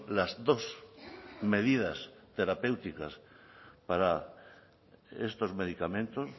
las dos medidas terapéuticas para estos medicamentos